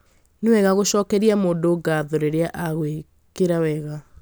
Nĩ wega gũcokeria mũndũ ngatho rĩrĩa agwĩkĩra wega